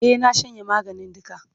E, na shanye maganin duka.